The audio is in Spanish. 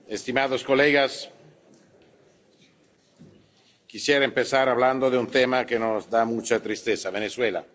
Estimados colegas, quisiera empezar hablando de un tema que nos da mucha tristeza Venezuela.